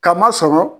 Ka masɔrɔ